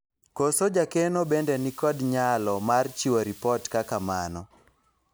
koso jakeno bende nikod nyalo mar chiwo ripot kaka mano